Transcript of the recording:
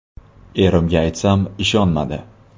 Erimga aytsam, ishonmadi.